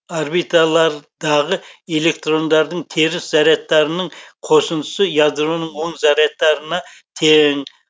орбиталардағы электрондардың теріс зарядтарының қосындысы ядроның оң зарядтарына тең